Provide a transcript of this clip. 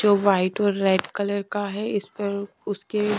जो वाइट और red colour का है इस पर उसके--